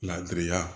Ladiriya